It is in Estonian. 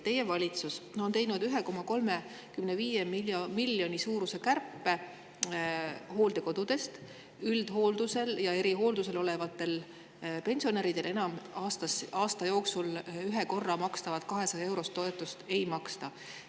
Teie valitsus on teinud 1,35 miljoni suuruse kärpe: hooldekodudes üldhooldusel ja erihooldusel olevatele pensionäridele aasta jooksul üks kord makstud 200-eurost toetust enam ei maksta.